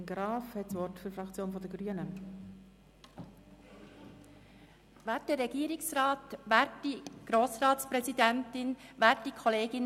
Ich bin auch Mitmotionärin, spreche hier aber für die Fraktion.